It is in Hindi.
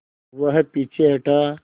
वह पीछे हटा